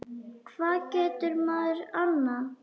Hvað getur maður annað?